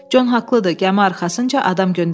Con haqlıdır, gəmi arxasınca adam göndərməliyik.